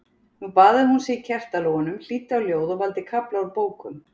Nú baðaði hún sig í kertalogunum, hlýddi á ljóð og valda kafla úr bókum.